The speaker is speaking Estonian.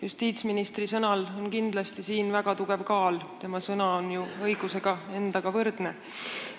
Justiitsministri sõnal on siin kindlasti väga tugev kaal – tema sõna on ju õiguse endaga võrdne.